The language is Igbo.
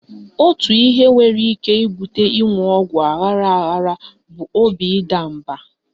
Otu ihe nwere ike ibute ịṅụ ọgwụ aghara aghara bụ obi ịda mba.